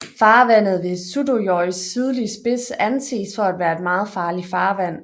Farvandet ved Suðuroys sydlige spids anses for at være et meget farligt farvand